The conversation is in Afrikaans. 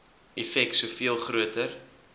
effek soveel groter